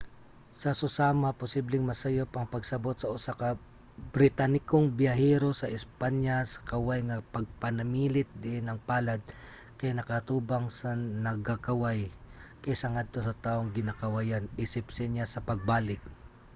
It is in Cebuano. sa susama posibleng masayop ang pagsabot sa usa ka britanikong biyahero sa espanya sa kaway nga pagpanamilit diin ang palad kay nakaatubang sa nagakaway kaysa ngadto sa tawong ginakawayan isip senyas sa pagbalik